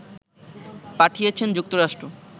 পাঠিয়েছে যুক্তরাষ্ট্র